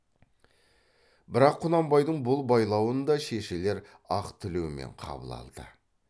бірақ құнанбайдың бұл байлауын да шешелер ақ тілеумен қабыл алды